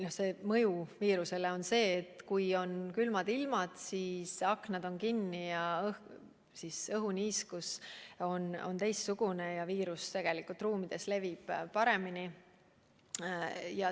Ja see mõju viirusele on selline, et kui on külmad ilmad, siis aknad on kinni ja õhuniiskus on teistsugune ja viirus levib ruumides paremini.